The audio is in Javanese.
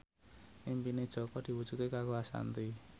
impine Jaka diwujudke karo Ashanti